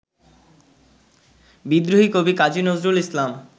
বিদ্রোহী কবি কাজী নজরুল ইসলাম